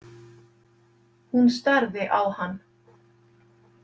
Hún starði á hann.